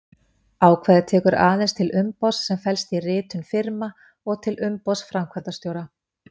Ákvæðið tekur aðeins til umboðs sem felst í ritun firma og til umboðs framkvæmdastjóra.